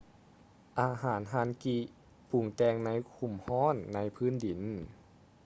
ອາຫານ hangi ປຸງແຕ່ງໃນຂຸມຮ້ອນໃນພື້ນດິນ